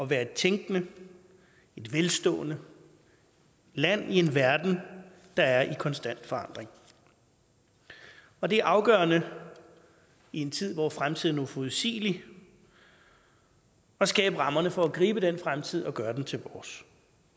være et tænkende og velstående land i en verden der er i konstant forandring og det er afgørende i en tid hvor fremtiden er uforudsigelig at skabe rammerne for at gribe den fremtid og gøre den til vores